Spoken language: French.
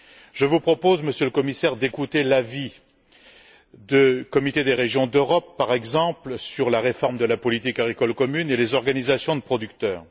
Je vous propose, Monsieur le Commissaire, d'écouter l'avis du Comité des régions d'Europe, par exemple, sur la réforme de la politique agricole commune et les organisations de producteurs.